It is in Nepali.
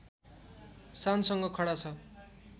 शानसँग खडा छ